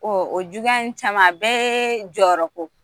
Ɔ o juguya in caman a bɛɛ ye jɔyɔrɔko